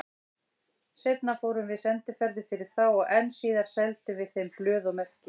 Seinna fórum við sendiferðir fyrir þá og enn síðar seldum við þeim blöð og merki.